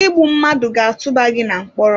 Igbu mmadụ ga-atụba gị na mkpọrọ.